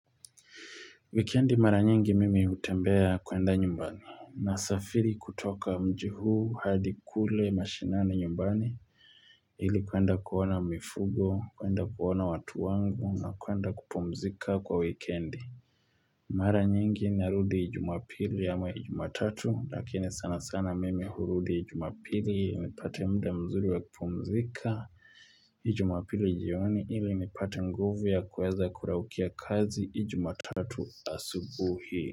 Wikendi mara nyingi mimi hutembea kuenda nyumbani nasafiri kutoka mjii huu hadi kule mashinani nyumbani ili kuenda kuona mifugo, kuenda kuona watu wangu na kuenda kupumzika kwa wikendi. Mara nyingi narudi jumapili ama ijumatatu lakini sana sana mimi hurudi ijumapili nipate mda mzuri wa kupumzika ijumapili jioni ili nipate nguvu ya kuweza kuraukia kazi ijumatatu asubuhi.